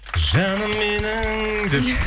жаным менің деп